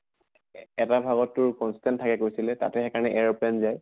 এ এটা ভাগত তোৰ constant থাকে কৈছিলে তাতে সেই কাৰণে airplane যায়।